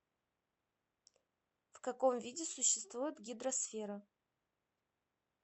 в каком виде существует гидросфера